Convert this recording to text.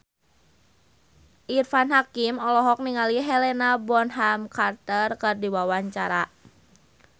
Irfan Hakim olohok ningali Helena Bonham Carter keur diwawancara